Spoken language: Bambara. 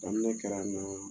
Kabin'o kɛra n na